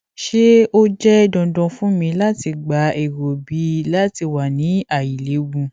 ṣe o jẹ dandan fun mi lati gba ero b lati wa ni ailewu